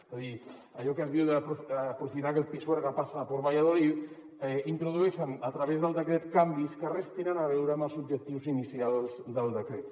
és a dir allò que es diu aprofitar que el pisuerga pasa por valladolid introdueixen a través del decret canvis que res tenen a veure amb els objectius inicials del decret